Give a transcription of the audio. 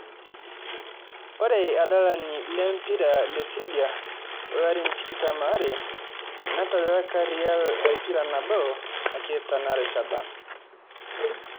Ore ilo adalani le mpira leserbia lolarin tikitam are, netadalaka real empira nabo ake tena rishata